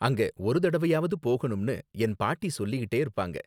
அங்க ஒரு தடவயாவது போகணும்னு என் பாட்டி சொல்லிட்டே இருப்பாங்க